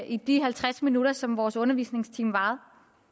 i de halvtreds minutter som vores undervisningstime varede